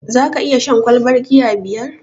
Zaka iya shan ƙwalban giya biyar?